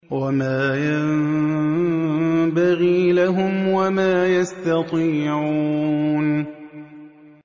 وَمَا يَنبَغِي لَهُمْ وَمَا يَسْتَطِيعُونَ